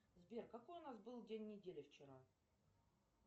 сбер какой у нас был день недели вчера